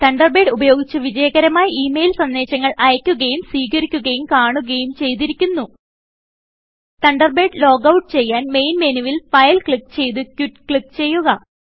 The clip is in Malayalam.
തണ്ടർബേഡ് ഉപയോഗിച്ച് വിജയകരമായി ഈ മെയിൽ സന്ദേശങ്ങൾ അയക്കുകയും സ്വീകരിക്കുകയും കാണുകയും ചെയ്തിരിക്കുന്നു തണ്ടർബേഡ് ലോഗൌട്ട് ചെയ്യാൻ മെയിൻ മെനുവിൽ ഫൈൽ ക്ലിക്ക് ചെയ്ത് ക്വിറ്റ് ക്ലിക്ക് ചെയ്യുക